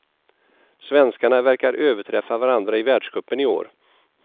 Svenskarna verkar överträffa varandra i världscupen i år.